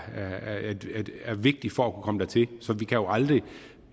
vigtigt for at kunne komme dertil så vi kan jo aldrig